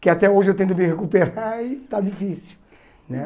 Que até hoje eu tento me recuperar e está difícil né.